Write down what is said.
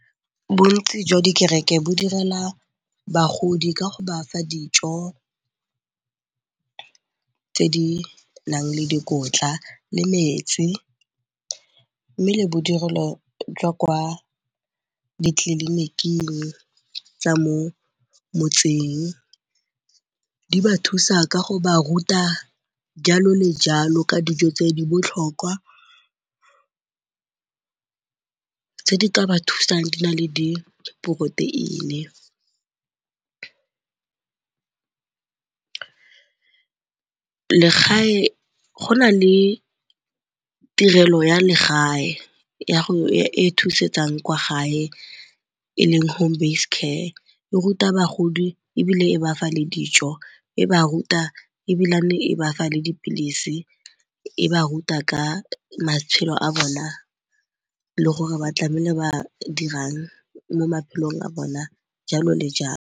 Bontsi jwa dikereke bo direla bagodi ka go ba fa dijo tse di nang le dikotla le metsi mme le bodirelo jwa kwa ditleliniking tsa mo motseng. Di ba thusa ka go ba ruta jalo le jalo ka dijo tse di botlhokwa tse di ka ba thusang di na le di-protein-e. Go na le tirelo ya legae e thusetsang kwa gae e leng home-based care. E ruta bogodi ebile e ba fa le dijo, e ba ruta ebilane e ba fa le dipilisi, e ba ruta ka matshelo a bona le gore ba tlameile ba dirang mo maphelong a bona jalo le jalo.